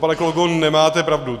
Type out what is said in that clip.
Pane kolego, nemáte pravdu.